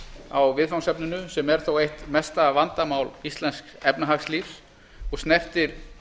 á viðfangsefninu sem er þó eitt mesta vandamál íslensks efnahagslífs og snertir